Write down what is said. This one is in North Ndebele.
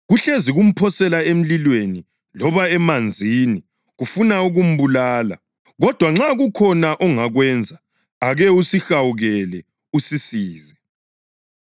Kuhlezi kumphosela emlilweni loba emanzini kufuna ukumbulala. Kodwa nxa kukhona ongakwenza ake usihawukele usisize.”